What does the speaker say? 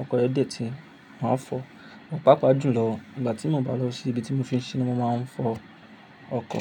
ọkọ rẹ dẹ̀ tí, màá fọ. Pápá jù lọ, ìgbà tí mo bá lọ sí ibi tí mo fi ń ṣiṣẹ́ ni mo máa ń fọ ọkọ̀.